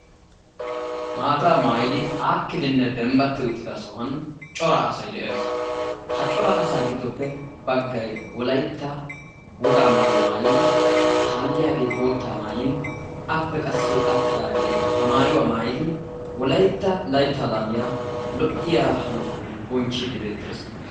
Maata maayidi aakidinne dembbatti uttida sohuwan cora asay de'ees. Ha cora asaa giddoppe baggay wolaytta wogaa maayuwa maayin, kaalliyaage bootta maayin, appe qassi attidaage ba maayuwa maayidi wolaytta laytta laamiyaa lo"iya hanotan bonchchiiddi beettees.